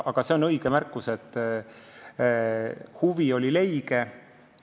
Aga see on õige märkus, et huvi oli leige.